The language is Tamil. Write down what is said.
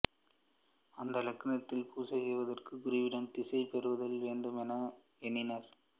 அந்த லிங்கத்தினை பூசை செய்வதற்கு குருவிடம் தீட்சை பெறுதல் வேண்டுமென எண்ணினார்